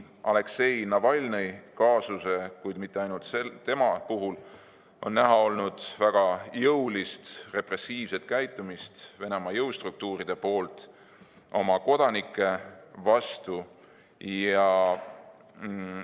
Aleksei Navalnõi kaasuse, kuid mitte ainult tema puhul on näha olnud väga jõulist repressiivset käitumist, mida Venemaa jõustruktuurid on oma kodanike vastu rakendanud.